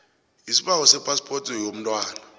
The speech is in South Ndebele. isibawo sephaspoti yomntwana